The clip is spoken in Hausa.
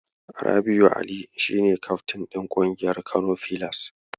Rabi'u Ali shi ne kafrin ɗin ƙungiyar Kano filas.